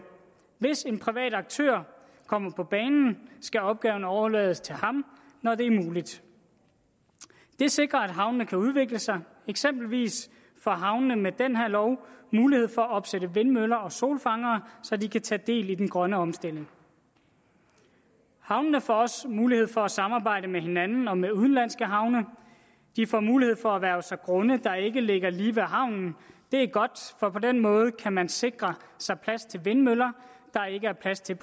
hvis en privat aktør kommer på banen skal opgaven overlades til ham når det er muligt det sikrer at havnene kan udvikle sig eksempelvis får havnene med den her lov mulighed for at opsætte vindmøller og solfangere så de kan tage del i den grønne omstilling havnene får også mulighed for at samarbejde med hinanden og med udenlandske havne de får mulighed for at erhverve sig grunde der ikke ligger lige ved havnen det er godt for på den måde kan man eksempelvis sikre sig plads til vindmøller der ikke er plads til